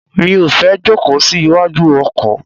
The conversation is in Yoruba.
Mi ò fẹ́ jókòó sí iwájú ọkọ̀.